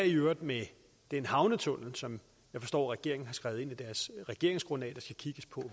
i øvrigt med den havnetunnel som jeg forstår regeringen har skrevet ind i deres regeringsgrundlag der skal kigges på